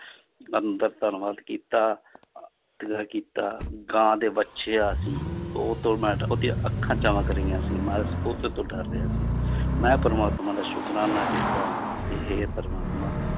ਅੰਦਰ ਧੰਨਵਾਦ ਕੀਤਾ ਕੀਤਾ, ਗਾਂ ਦੇ ਵੱਛਿਆ ਸੀ ਉਹ ਉਹਦੀਆਂ ਅੱਖਾਂ ਚਮਕ ਰਹੀਆਂ ਸੀ ਮੈਂ ਉਹਦੇ ਤੋਂ ਡਰ ਰਿਹਾ ਸੀ ਮੈਂ ਪਰਮਾਤਮਾ ਦਾ ਸੁਕਰਾਨਾ ਕੀਤਾ ਕਿ ਹੇ ਪਰਮਾਤਮਾ